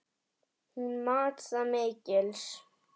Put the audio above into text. Hún mat það mikils.